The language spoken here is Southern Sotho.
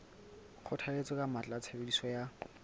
kgothalletsa ka matla tshebediso ya